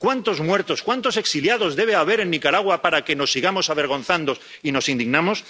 ¿Cuántos muertos, cuántos exiliados debe haber en Nicaragua para que nos sigamos avergonzando y nos indignemos?